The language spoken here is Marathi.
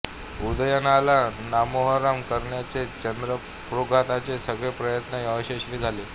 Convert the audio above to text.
उदयनला नामोहरम करण्याचे चंडप्रद्योताचे सगळे प्रयत्न अयशस्वी झाले